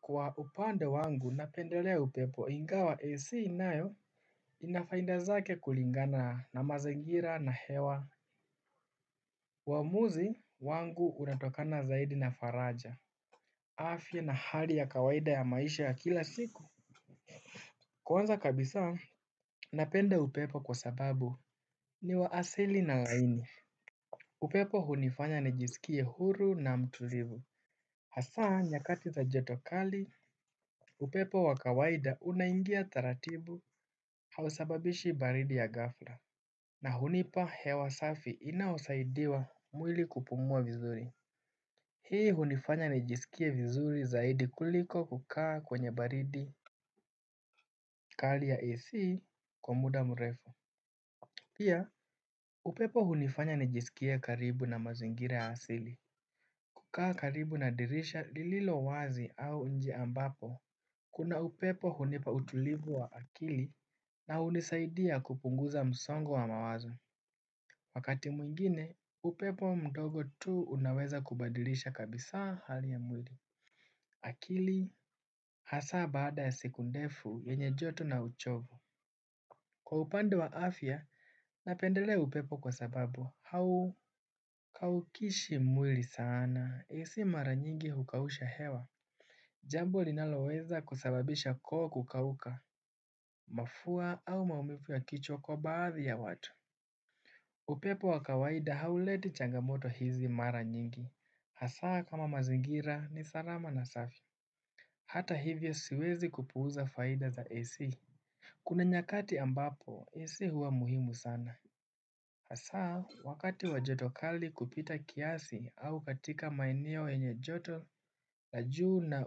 Kwa upande wangu napendelea upepo ingawa AC nayo. Ina faida zake kulingana na mazingira na hewa uamuzi wangu unatokana zaidi na faraja. Afya na hali ya kawaida ya maisha ya kila siku kwanza kabisa napenda upepo kwa sababu ni wa asili na laini. Upepo hunifanya nijisikie huru na mtulivu. Hasa nyakati za joto kali upepo wa kawaida unaingia taratibu. Hausababishi baridi ya ghafla. Na hunipa hewa safi inaosaidiwa mwili kupumua vizuri. Hii hunifanya nijisikie vizuri zaidi kuliko kukaa kwenye baridi kali ya AC kwa muda mrefu. Pia upepo hunifanya nijisikie karibu na mazingira ya asili. Kukaa karibu na dirisha lililo wazi au nje ambapo kuna upepo hunipa utulivu wa akili. Na hunisaidia kupunguza msongo wa mawazo wakati mwengine upepo mdogo tu unaweza kubadilisha kabisa hali ya mwili. Akili, hasa baada ya siku ndefu, yenye joto na uchovu. Kwa upande wa afya, napendelea upepo kwa sababu, haukaukishi mwili sana. AC mara nyingi hukausha hewa. Jambo linaloweza kusababisha koo kukauka, mafua au maumivu ya kichwa kwa baadhi ya watu. Upepo wa kawaida hauleti changamoto hizi mara nyingi. Hasaa kama mazingira ni salama na safi. Hata hivyo siwezi kupuuza faida za AC. Kuna nyakati ambapo, AC huwa muhimu sana. Hasaa wakati wa joto kali kupita kiasi au katika maeneo yenye joto, la juu na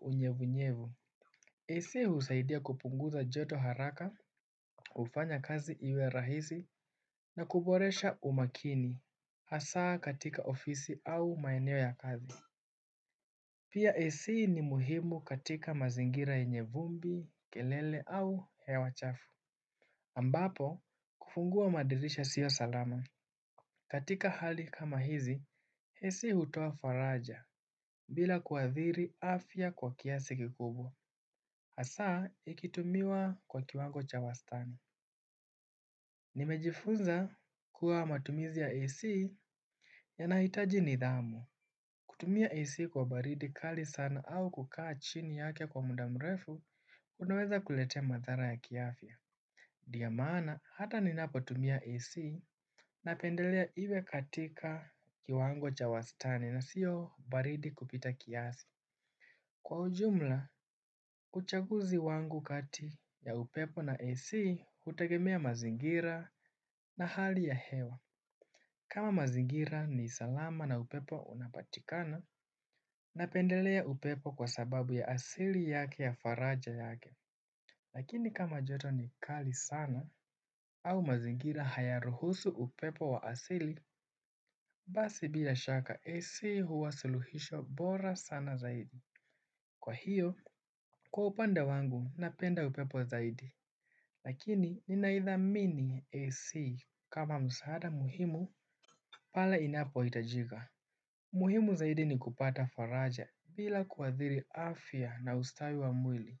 unyevunyevu. AC husaidia kupunguza joto haraka, hufanya kazi iwe rahisi na kuboresha umakini. Hasaa katika ofisi au maeneo ya kazi Pia AC ni muhimu katika mazingira yenye vumbi, kelele au hewa chafu ambapo kufungua madirisha sio salama. Katika hali kama hizi, AC hutoa faraja bila kuathiri afya kwa kiasi kikubwa. Hasaa ikitumiwa kwa kiwango cha wastani. Nimejifunza kuwa matumizi ya AC Yanahitaji nidhamu, kutumia AC kwa baridi kali sana au kukaa chini yake kwa muda mrefu, unaweza kuletea mathara ya kiafya ndiyo maana hata ninapotumia AC napendelea iwe katika kiwango cha wastani na sio baridi kupita kiasi kwa ujumla uchaguzi wangu kati ya upepo na AC hutegemea mazingira na hali ya hewa. Kama mazingira ni salama na upepo unapatikana. Napendelea upepo kwa sababu ya asili yake ya faraja yake lakini kama joto ni kali sana au mazingira hayaruhusu upepo wa asili. Basi bila shaka AC huwa suluhisho bora sana zaidi. Kwa hiyo, kwa upande wangu napenda upepo zaidi. Lakini ninaithamini AC kama msaada muhimu pala inapohitajika. Muhimu zaidi ni kupata faraja bila kuathiri afya na ustawi wa mwili.